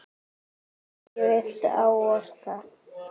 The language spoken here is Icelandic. Hverju viltu áorka?